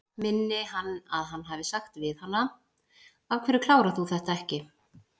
Minni hann að hann hafi sagt við hana: Af hverju klárar þú þetta ekki?